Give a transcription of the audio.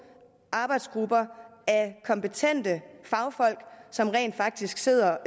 arbejdsgrupper af kompetente fagfolk som rent faktisk sidder